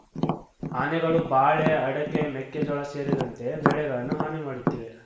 ಆನೆಗಳು ಬಾಳೆ ಅಡಕೆ ಮೆಕ್ಕೆಜೋಳ ಸೇರಿದಂತೆ ಬೆಳೆಗಳನ್ನು ಹಾನಿ ಮಾಡುತ್ತಿವೆ